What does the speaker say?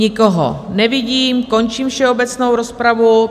Nikoho nevidím, končím všeobecnou rozpravu.